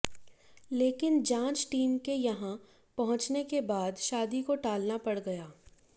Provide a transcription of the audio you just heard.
लेकिन जांच टीम के यहां पहुंचने के बाद शादी को टालना पड़ गया